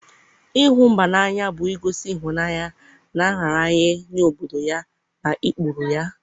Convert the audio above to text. ịhụ mba n'anya bụ igosi ịhụnanya na nraranye nye obodo ya na ụkpụrụ ya.